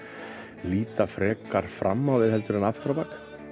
líta frekar fram á við heldur en aftur á bak